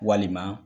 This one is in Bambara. Walima